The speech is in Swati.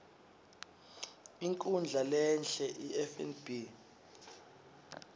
inkhundla lehie ifnb